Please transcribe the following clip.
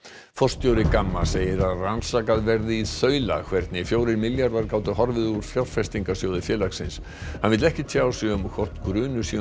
forstjóri Gamma segir að rannsakað verði í þaula hvernig fjórir milljarðar gátu horfið úr fjárfestingasjóði félagsins hann vill ekki tjá sig um hvort grunur sé um